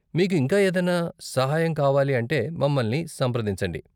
మీకు ఇంకా ఏదన్నా సహాయం కావాలి అంటే మమ్మల్ని సంప్రదించండి.